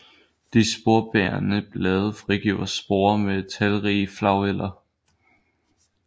De sporebærende blade frigiver sporer med talrige flageller